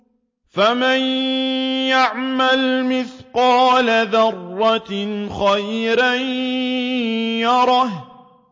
فَمَن يَعْمَلْ مِثْقَالَ ذَرَّةٍ خَيْرًا يَرَهُ